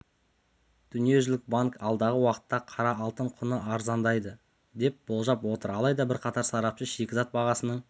дүниежүзілік банк алдағы уақытта қара алтын құны арзандайды деп болжап отыр алайда бірқатар сарапшы шикізат бағасының